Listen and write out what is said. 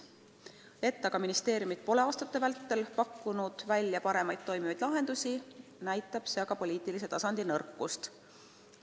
See, et ministeeriumid pole aastate vältel välja pakkunud paremaid, toimivaid lahendusi, näitab aga poliitilise tasandi nõrkust.